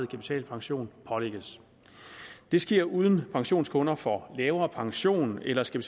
kapitalpension pålægges det sker uden at pensionskunder får lavere pension eller skal